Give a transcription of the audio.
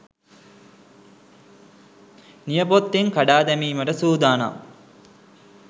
නියපොත්තෙන් කඩා දැමීමට සූදානම්